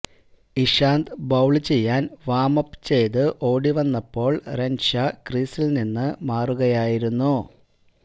Ishant bowl ചെയ്യാന് warm up ചെയ്ത് ഓടി വന്നപ്പോള് റെന്ഷാ ക്രീസില് നിന്ന് മാറുകയായിരുന്നു